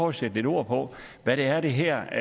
at sætte lidt ord på hvad det er det her